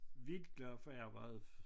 Virkelig glad for jeg har været